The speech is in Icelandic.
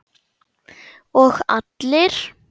Og allir?